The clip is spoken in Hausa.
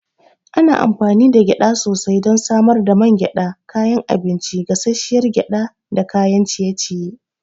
Ana amfani da gyada sosai don samar da man gyada, kayan abinci, gasasshiyar gyada da kayan ciye-ciye.